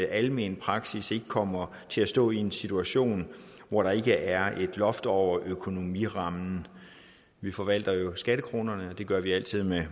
almenpraksis ikke kommer til at stå i en situation hvor der ikke er et loft over økonomirammen vi forvalter jo skattekronerne og det gør vi altid med